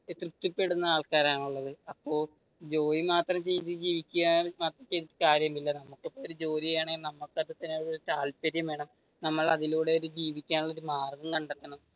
തൃപ്തി പെടുന്ന ആൾക്കാരാണ് ഉള്ളത്. അപ്പൊ ജോലി മാത്രം ചെയ്തു ജീവിക്കാൻ ഒരു കാര്യവുമില്ല അതിലൂടെ ജീവിക്കാനുള്ള ഒരു മാർഗം കണ്ടത്തണം